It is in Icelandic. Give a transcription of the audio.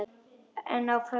En áfram með söguna.